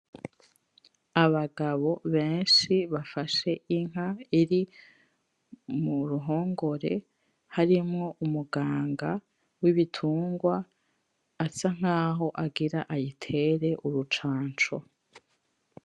Abagabo beshi bafashe inka iri muruhongore harimwo umuganga w’ibitungwa asa nkaho agira ayitere urucanco.